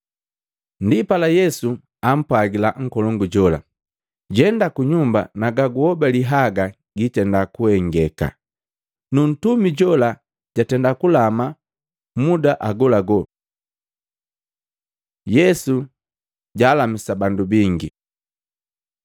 Ndipala Yesu ampwagila nkolongu jola, “Jenda kunyumba na gaguhobali haga giitenda kuhengeka.” Nu ntumi jola jatenda kulama muda agolagola. Yesu jalamisa bandu bingi Maluko 1:29-34; Luka 4:38-41